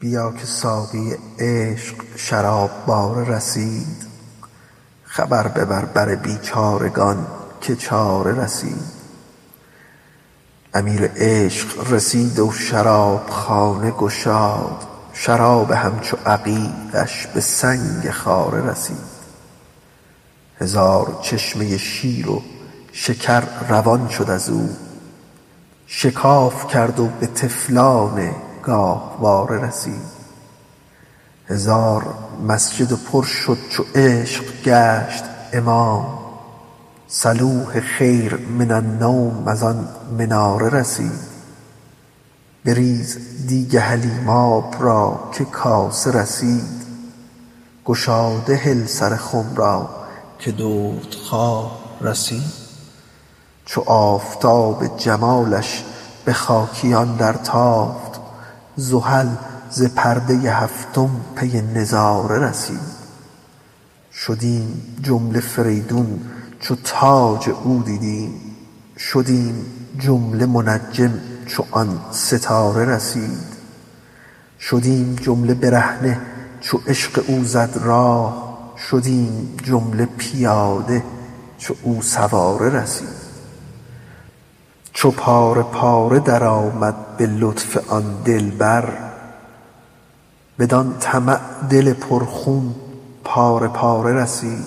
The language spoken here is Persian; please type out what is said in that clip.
بیا که ساقی عشق شراب باره رسید خبر ببر بر بیچارگان که چاره رسید امیر عشق رسید و شرابخانه گشاد شراب همچو عقیقش به سنگ خاره رسید هزار چشمه شیر و شکر روان شد از او شکاف کرد و به طفلان گاهواره رسید هزار مسجد پر شد چو عشق گشت امام صلوه خیر من النوم از آن مناره رسید بریز دیگ حلیماب را که کاسه رسید گشاده هل سر خم را که دردخواره رسید چو آفتاب جمالش به خاکیان درتافت زحل ز پرده هفتم پی نظاره رسید شدیم جمله فریدون چو تاج او دیدیم شدیم جمله منجم چو آن ستاره رسید شدیم جمله برهنه چو عشق او زد راه شدیم جمله پیاده چو او سواره رسید چو پاره پاره درآمد به لطف آن دلبر بدان طمع دل پرخون پاره پاره رسید